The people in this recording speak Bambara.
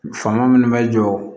Fanga minnu bɛ jɔ